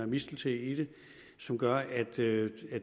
mistelten i det som gør at det